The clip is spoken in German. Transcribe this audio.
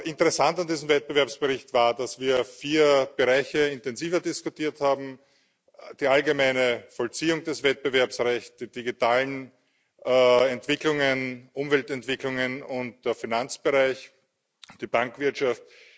Interessant an diesem Wettbewerbsbericht war, dass wir vier Bereiche intensiver diskutiert haben die allgemeine Vollziehung des Wettbewerbsrechts, die digitalen Entwicklungen, Umweltentwicklungen und den Finanzbereich, die Bankwirtschaft.